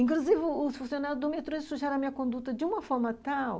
Inclusive, os os funcionários do metrô sujaram a minha conduta de uma forma tal,